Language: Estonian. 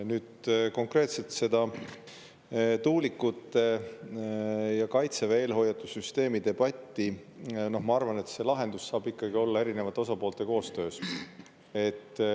Nüüd, konkreetselt see tuulikute ja Kaitseväe eelhoiatussüsteemi debatt: ma arvan, et lahendus saab ikkagi olla erinevate osapoolte koostöös.